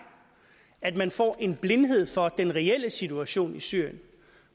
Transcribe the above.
at man får en blindhed for den reelle situation i syrien